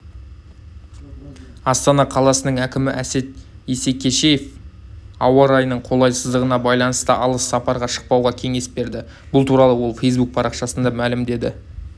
астана қаласының әкімі әсет исекешев ауа райының қолайсыздығына байланысты алыс сапарға шықпауға кеңес берді бұл туралы ол фейсбук парақшасында мәлімдеді